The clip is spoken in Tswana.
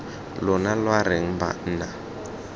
lona lwa re eng banna